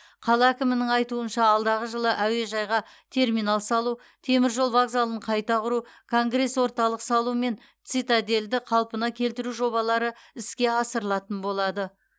қала әкімінің айтуынша алдағы жылы әуежайға терминал салу темір жол вокзалын қайта құру конгресс орталық салу мен цитадельді қалпына келтіру жобалары іске асырылатын болады